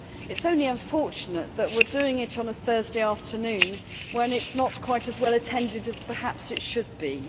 It is only unfortunate that we are doing it on a Thursday afternoon when it is not quite as well attended as perhaps it should be.